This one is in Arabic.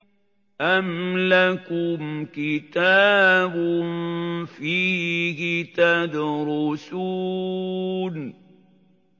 أَمْ لَكُمْ كِتَابٌ فِيهِ تَدْرُسُونَ